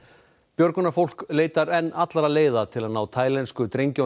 björgunarfólk leitar enn allra leiða til að ná taílensku drengjunum